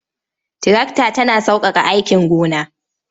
Tirakta tana sauƙaƙa aikin gona.